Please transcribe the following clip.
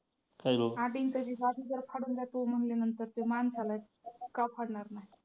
आठ इंचाची गादी जर फाडून जातोय म्हणल्यानंतर तो माणसाला का फाडणार नाही.